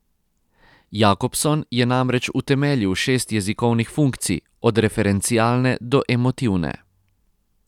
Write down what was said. Jakobson je namreč utemeljil šest jezikovnih funkcij, od referencialne do emotivne.